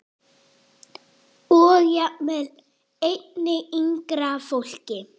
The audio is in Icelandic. Og jafnvel einnig yngra fólki.